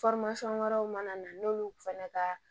wɛrɛw mana na n'olu fana ka